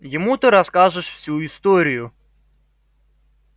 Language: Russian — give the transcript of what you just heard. ему ты расскажешь всю историю